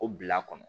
O bila kɔnɔ